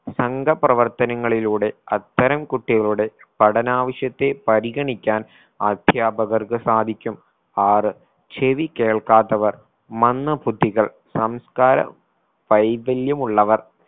സംഗ പ്രവർത്തനങ്ങളിലൂടെ അത്തരം കുട്ടികളോട് പഠനാവശ്യത്തെ പരിഗണിക്കാൻ അധ്യാപകർക്ക് സാധിക്കും ആറ് ചെവി കേൾക്കാത്തവർ മന്ദബുദ്ധികൾ സംസ്കാര വൈകല്യമുള്ളവർ